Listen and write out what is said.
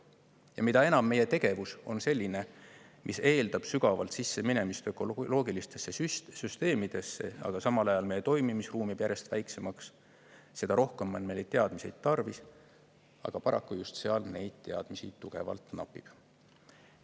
Ja mida enam meie tegevus on selline, mis eeldab sügavalt sisseminemist ökoloogilistesse süsteemidesse, aga samal ajal meie toimimisruum jääb järjest väiksemaks, seda rohkem on meil teadmisi tarvis, aga paraku just seal neid teadmisi tugevalt napib.